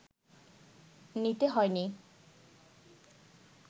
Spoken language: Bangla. নিতে হয়নি